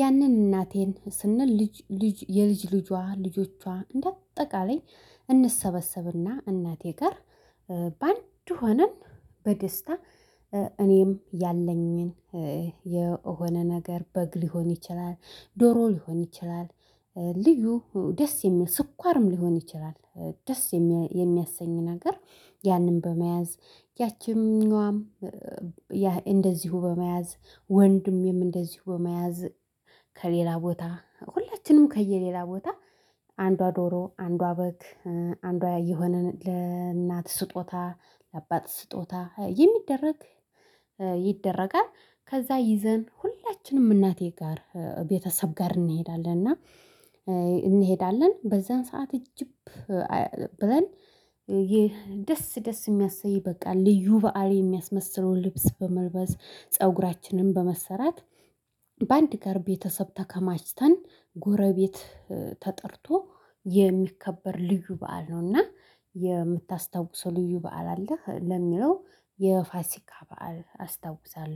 ያንን እናቴን ስንል ልጅ ልጅ የልጅ ልጇ ልጆቿ እንደ አጠቃላይ እንሰበሰብና እናቴ ጋር በአንድ ሆነን በደስታ እኔም ያለኝን የሆነ ነገር በግ ሊሆን ይችላል ዶሮ ሊሆን ይችላል ልዩ ደስ የሚል ስኳርም ሊሆን ይችላል ደስ የሚያሰኝ ነገር ያንን በመያዝ ያቺኛዋም ያ እንደዚሁ በመያዝ ወንድሜም እንደዚሁ በመያዝ ከሌላ ቦታ ሁላችንም ከየሌላ ቦታ አንዷ ዶሮ አንዷ በግ አንዷ የሆነን ለእናት ስጦታ ለአባት ስጦታ የሚደረግ ይደረጋል ከዛ ይዘን ሁላችንም እናቴ ጋር ቤተሰብ ጋር እንሄዳለን እና እንሄዳለን በዛን ሰዓት እጅብ ብለን የደስ ደስ የሚያሰይ በቃ ልዩ በዓል የሚያስመስለውን ልብስ በመልበስ ፀጉራችንን በመሰራት በአንድ ጋር ቤተሰብ ተከማችተን ጎረቤት ተጠርቶ የሚከበር ልዩ በዓል ነውና የምታስታውሰው ልዩ በዓል አለህ ለሚለው የፋሲካ በዓል አስታውሳለው።